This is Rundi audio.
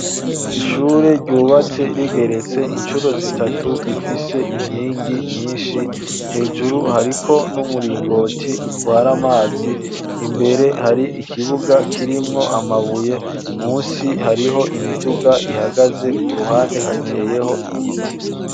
Ishure ryubatse rigeretse, incuro zitatu, rifise inkingi nyinshi; hejuru, hariko n'umuringoti, utwara amazi; imbere, hari ikibuga, kirimwo amabuye; munsi, hariho imiduga ihagaze; ku ruhande, hateyeho igiti.